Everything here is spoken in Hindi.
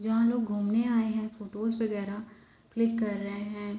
जहाँ लोग घुमने आए हैं फोटोस वैगरह क्लिक कर रहे हैं।